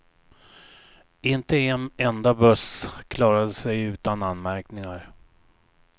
Inte en enda buss klarade sig utan anmärkningar.